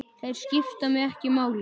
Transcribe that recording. Þeir skipta mig ekki máli.